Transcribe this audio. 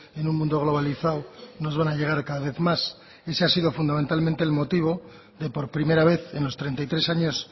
en un mundo globalizado nos van a llegar cada vez más ese ha sido fundamentalmente el motivo de por primera vez en los treinta y tres años